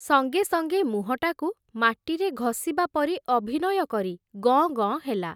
ସଙ୍ଗେ ସଙ୍ଗେ ମୁହଁଟାକୁ ମାଟିରେ ଘଷିବା ପରି ଅଭିନୟ କରି ଗଁ ଗଁ ହେଲା ।